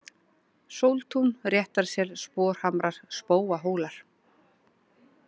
Sóltún, Réttarsel, Sporhamrar, Spóahólar